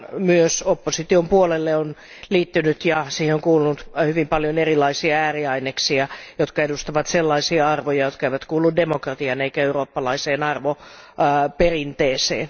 Myös opposition puolelle on liittynyt ja siihen on kuulunut hyvin paljon erilaisia ääriaineksia, jotka edustavat sellaisia arvoja, jotka eivät kuulu demokratiaan eivätkä eurooppalaiseen arvoperinteeseen.